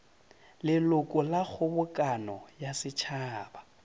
leloko la kgobokano ya setšhaba